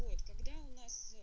вот когда у нас